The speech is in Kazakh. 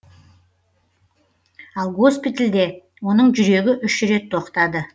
ал госпитальде оның жүрегі үш рет тоқтады